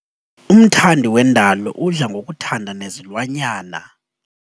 Umthandi wendalo udla ngokuthanda nezilwanyana.